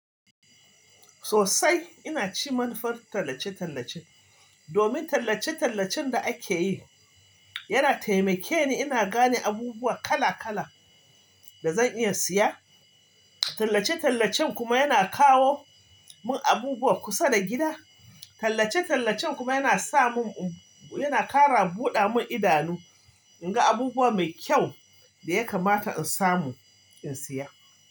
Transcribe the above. Sosai ina cin manufar tallace-tallace. Domin tallace-tallacen da ake yi yana taimake ni ina gane abubuwa kala-kala da zan iya siya. Tallace-tallacen kuma yana kawo mun abubuwa kusa da gida. Tallace-tallacen kuma yana sa mun, yana kara buɗa mun idanu in ga abubuwa mai kyau da ya kamata in samu in siya.